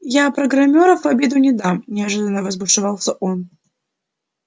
я программёров в обиду не дам неожиданно разбушевался он